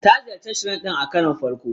Ta ziyarci Shrine din a karon farko.